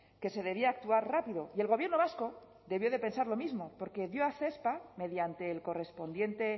que se debía actuar rápido y el gobierno vasco debió de pensar lo mismo porque dio a cespa mediante el correspondiente